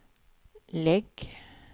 lägg